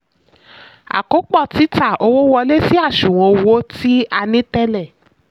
àkópọ̀ títa: owó wọlé sí àṣùwọ̀n owó tí a ní tẹ́lẹ̀.